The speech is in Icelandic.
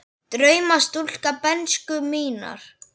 Drauma stúlka bernsku minnar.